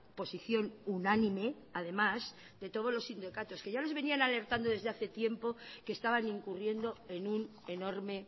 posición unánime además de todos los sindicatos que ya les venían alertando desde hace tiempo que estaban incurriendo en un enorme